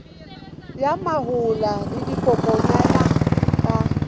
ya mahola le dikokwanyana ka